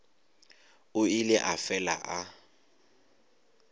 o ile a fela a